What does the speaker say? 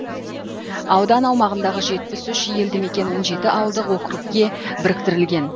аудан аумағындағы жетпіс үш елді мекен он жеті ауылдық округке біріктірілген